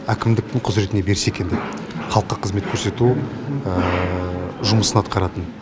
әкімдіктің құзыретіне берсе екен деп халыққа қызмет көрсету жұмысын атқаратын